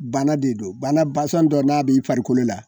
Bana de don bana dɔ n'a bi farikolo la